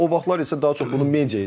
O vaxtlar isə daha çox bunu media edirdi.